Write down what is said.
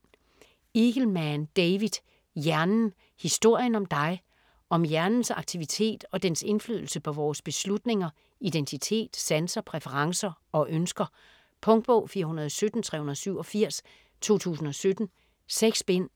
Eagleman, David: Hjernen: historien om dig Om hjernens aktivitet og dens indflydelse på vores beslutninger, identitet, sanser, præferencer og ønsker. Punktbog 417387 2017. 6 bind.